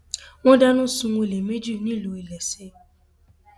wọn dáná sun olè méjì nílùú iléeṣẹ